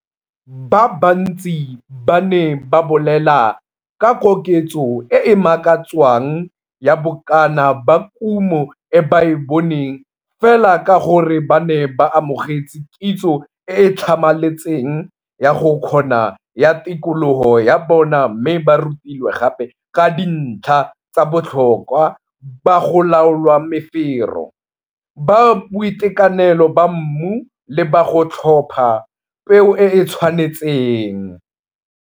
Ba bantsi ba ne ba bolela ka koketso e e makatswang ya bokana ba kumo e ba e boneng fela ka gore ba ne ba amogetse kitso e e tlhamaletseng ya go kgona ya tikologo ya bona mme ba rutilwe gape ka dintlha tsa botlhokwa ba go laola mefero, ba boitekanelo ba mmu le ba go tlhopha peo e e tshwanetseng.